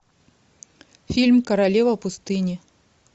фильм королева пустыни